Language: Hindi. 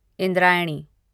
इंद्रायणी